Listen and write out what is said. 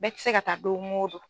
Bɛɛ tɛ se ka taa don o don.